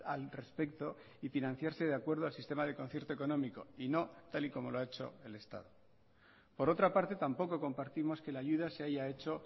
al respecto y financiarse de acuerdo al sistema de concierto económico y no tal y como lo ha hecho el estado por otra parte tampoco compartimos que la ayuda se haya hecho